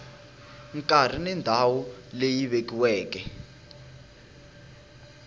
nkarhi na ndhawu leyi vekiweke